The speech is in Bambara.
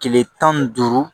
Kile tan ni duuru